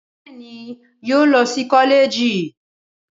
Bẹẹni yóò lọ sí kọlẹẹjì